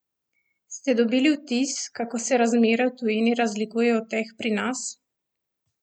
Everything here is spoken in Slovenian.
Ste dobili vtis, kako se razmere v tujini razlikujejo od teh pri nas?